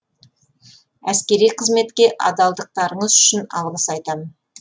әскери қызметке адалдықтарыңыз үшін алғыс айтамын